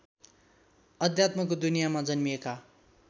अध्यात्मको दुनियाँमा जन्मिएका